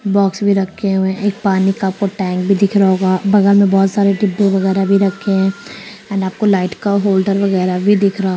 Box में रखे हुए एक पानी का आपको टैंक भी दिख रहा होगा बगल में बहुत सारे डब्बे वैगैरा भी रखे है एंड आपको लाइट का होल्डर वगैरा भी दिख रहा होगा।